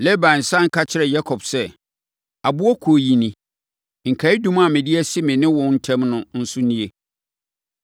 Laban sane ka kyerɛɛ Yakob sɛ, “Aboɔ Kuo yi ni. Nkaeɛdum a mede asi me ne wo ntam no nso nie.